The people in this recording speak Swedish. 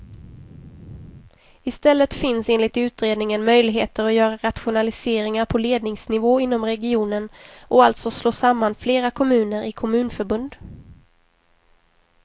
Istället finns enligt utredningen möjligheter att göra rationaliseringar på ledningsnivå inom regionen och alltså slå samman flera kommuner i kommunförbund.